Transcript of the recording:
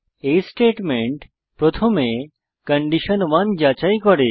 এই স্টেটমেন্ট প্রথমে কন্ডিশন 1 যাচাই করে